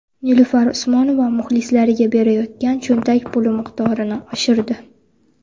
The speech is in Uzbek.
Nilufar Usmonova muxlislariga berayotgan cho‘ntak puli miqdorini oshirdi.